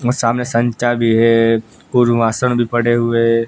म सामने संचा भी है कुर्वाशन भी पड़े हुए--